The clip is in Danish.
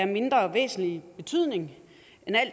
mindre væsentlig betydning